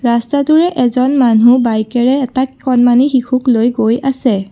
ৰাস্তাটোৰে এজন মানুহ বাইকেৰে এটা কণমানি শিশুক লৈ গৈ আছে।